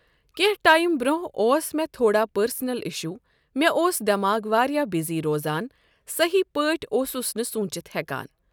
کیٚنٛہ time بروٚنٛہہ اوس مےٚ تھوڑا پرسنل اِشٗو۔ مےٚ اوس دٮ۪ماغ واریاہ بِزی روزان۔ صحیح پٲٹھۍ اوسُس نہٕ سونچِتھ ہؠکان۔